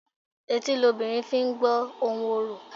Etí lobìnrin fi I gbó ohùn orò.